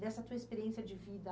Dessa tua experiência de vida